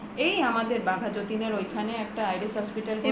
এই আমাদের বাঘাযতীন এর ঐখানে একটা IDS hospital